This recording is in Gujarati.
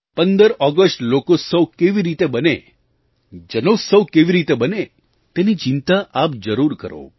15 ઑગસ્ટ લોકોત્સવ કેવી રીતે બને જનોત્સવ કેવી રીતે બને તેની ચિંતા આપ જરૂર કરો